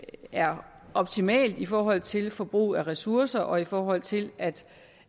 er optimalt i forhold til forbruget af ressourcer og i forhold til at